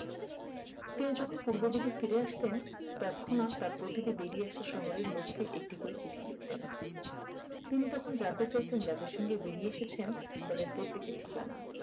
তিনি যখন পূর্ব দিকে ফিরে আসতেন তৎক্ষুনাত তার প্রতিটি বেরিয়ে আসার শহরের লোককে একটি করে চিঠি লিখতেন তিনি তখন জানতে চাইতেন যাদের সাথে বেরিয়ে এসেছেন তাদের প্রত্যেকের ঠিকানা